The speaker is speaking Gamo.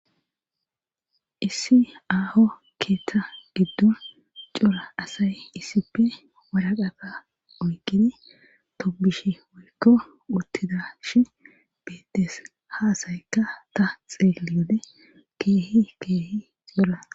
Issi aaho keetta gidddon cora asay issippe waraqata oykkidi tobbishe woykko wottidashi beettees ha asaykka ta xeelliyode keehi keehi cora.